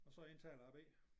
Og så jeg indtaler B